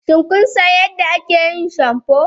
Shin kun san yadda ake yin shamfu?